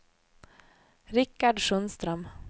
Rikard Sundström